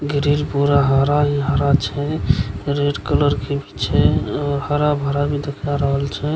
गिरिल पूरा हरा ही हरा छय रेड कलर के भी छे हरा-भरा भी देखाय रहल छय।